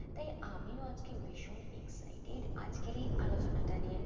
তাই আমিও আজকে ভীষণ excited আজকের এই আলোচনাটা নিয়ে।